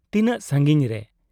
ᱛᱤᱱᱟᱹᱜ ᱥᱟᱺᱜᱤᱧ ᱨᱮ ?